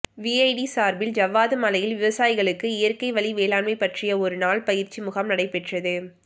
VIT சார்பில் ஜவ்வாது மலையில் விவசாயிகளுக்கு இயற்கைவழி வேளாண்மை பற்றிய ஒரு நாள் பயிற்சி முகாம் நடைப்பெற்றது